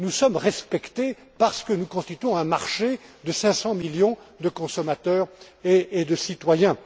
Nous sommes respectés parce que nous constituons un marché de 500 millions de consommateurs et de citoyens.